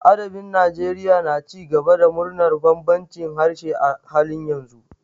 Adabin Najeriya na ci gaba da murnar bambancin harshe a halin yanzu.